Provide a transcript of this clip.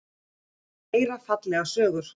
Vill heyra fallegar sögur.